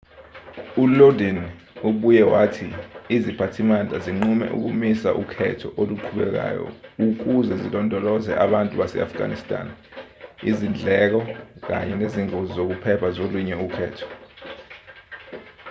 ulodin ubuye wathi iziphathimandla zinqume ukumisa ukhetho oluqhubekayo ukuze zilondolozele abantu base-afghanistan izindleko kanye nezingozi zokuphepha zolunye ukhetho